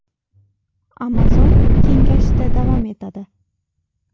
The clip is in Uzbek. Amazon kengayishda davom etadi.